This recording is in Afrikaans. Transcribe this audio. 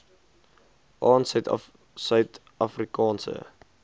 aan suid afrikaanse